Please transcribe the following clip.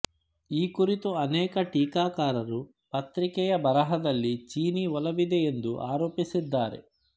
ಈ ಕುರಿತು ಅನೇಕ ಟೀಕಾಕಾರರು ಪತ್ರಿಕೆಯ ಬರಹದಲ್ಲಿ ಚೀನೀ ಒಲವಿದೆ ಎಂದು ಆರೋಪಿಸಿದ್ದಾರೆ